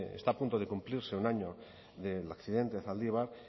está a punto de cumplirse un año del accidente de zaldibar